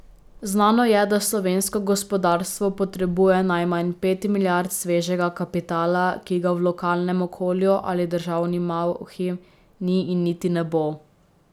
Znano je, da slovensko gospodarstvo potrebuje najmanj pet milijard svežega kapitala, ki ga v lokalnem okolju ali državni malhi ni in niti ne bo.